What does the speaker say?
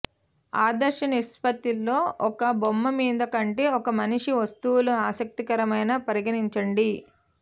ఆదర్శ నిష్పత్తిలో ఒక బొమ్మ మీద కంటే ఒక మనిషి వస్తువులు ఆసక్తికరమైన పరిగణించండి